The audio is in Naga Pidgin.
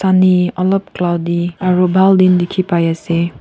olop cloudy aru bhal din dikhi pai ase.